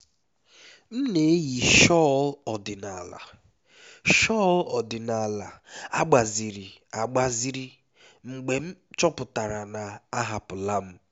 m na-eyi shawl ọdịnala shawl ọdịnala agbaziri agbaziri mgbe m chọpụtara na a hapụla m